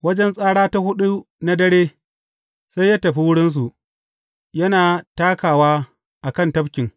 Wajen tsara ta huɗu na dare, sai ya tafi wurinsu, yana takawa a kan tafkin.